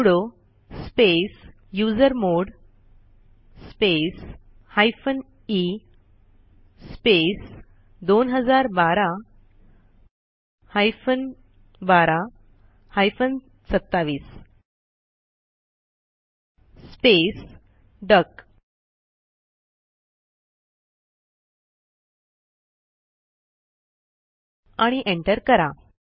sudo space usermod space hyphen e space 2012 hyphen 12 hyphen 27 space duck आणि enter करा